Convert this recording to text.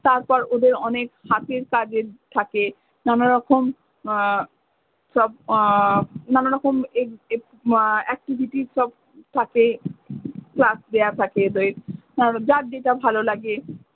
তারপর ওদের অনেক হাতের কাজের থাকে। নান রকম উম সব আহ নানা রকম এক এক উম activities সব থাকে task দেওয়া থাকে উম যার যেটা ভালো। লাগে